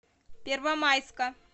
первомайска